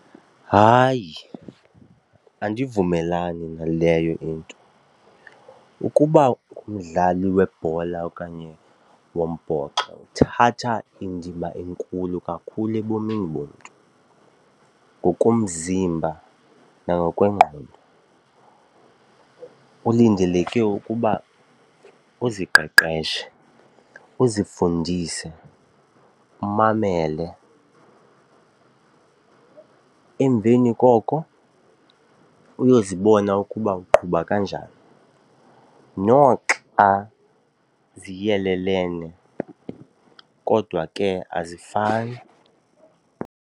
Hayi, andivumelani naleyo into. Ukuba ngumdlali webhola okanye wombhoxo kuthatha indima enkulu kakhulu ebomini bomntu ngokomzimba nangokwengqondo. Kulindeleke ukuba uziqeqeshe uzifundise umamele, emveni koko uyozibona ukuba uqhuba kanjani. Noxa ziyelelene kodwa ke azifani.